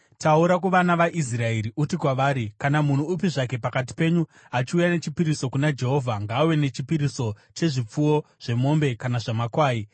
“Taura kuvana vaIsraeri uti kwavari, ‘Kana munhu upi zvake pakati penyu achiuya nechipiriso kuna Jehovha ngaauye nechipiriso chezvipfuwo, zvemombe kana zvamakwai.